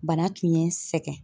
Bana tun ye n sɛgɛn.